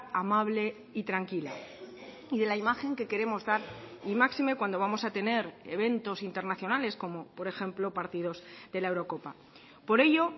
amable y tranquila y de la imagen que queremos dar y máxime cuando vamos a tener eventos internacionales como por ejemplo partidos de la eurocopa por ello